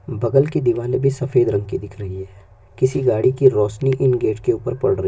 बगल की दीवाने दीवारे बी सफेद रंक की दिख रही है किसी गाड़ी रोशनी इन गेट के ऊपर पड़ रही है।